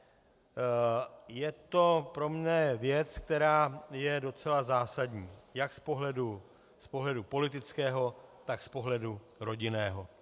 Je to pro mě věc, která je docela zásadní jak z pohledu politického, tak z pohledu rodinného.